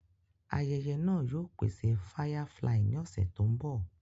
Ayẹyẹ náà yóò pèsè Firefly ní ọ̀sẹ̀ tó mbọ̀